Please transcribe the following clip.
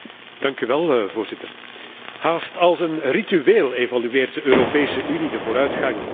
Haast als een ritueel evalueert de Europese Unie de vooruitgang in de betrekkingen met Turkije.